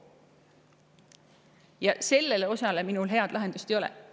Ja sellele mul head lahendust pakkuda ei ole.